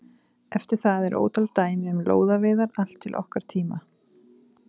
Eftir það eru ótal dæmi um lóðaveiðar allt til okkar tíma.